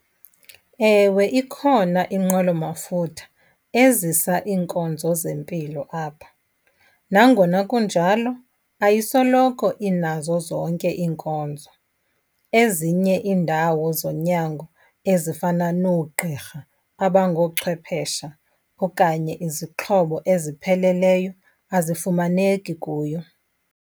Ewe, ikhona inqwelomafutha ezisa iinkonzo zempilo apha. Nangona kunjalo ayisoloko inazo zonke iinkonzo. Ezinye iindawo zonyango ezifana noogqirha abangochwephesha okanye izixhobo ezipheleleyo azifumaneki kuyo.